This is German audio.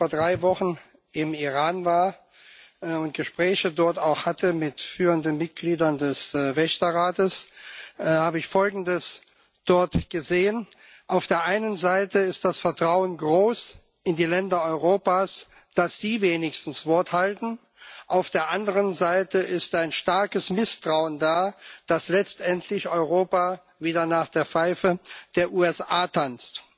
Als ich vor drei Wochen im Iran war und dort auch Gespräche mit führenden Mitgliedern des Wächterrates hatte, habe ich dort Folgendes gesehen Auf der einen Seite ist das Vertrauen in die Länder Europas groß, dass sie wenigstens Wort halten, auf der anderen Seite ist ein starkes Misstrauen da, dass letztendlich Europa wieder nach der Pfeife der USA tanzt.